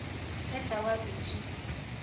ge tau a dutše a